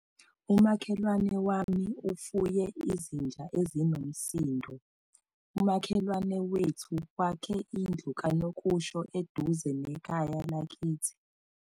Umakhelwane wami ufuye izinja ezinomsindo. umakhelwane wethu wakhe indlu kanokusho eduze nekhaya lakithi